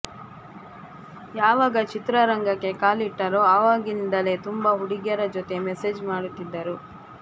ಯಾವಾಗ ಚಿತ್ರರಂಗಕ್ಕೆ ಕಾಲಿಟ್ಟರೋ ಆವಾಗಿಂದಲೇ ತುಂಬಾ ಹುಡುಗಿಯರ ಜೊತೆ ಮೆಸೇಜ್ ಮಾಡುತ್ತಿದ್ದರು